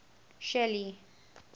shelly